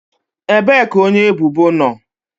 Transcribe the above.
Ebee ka onye ebubo nọ?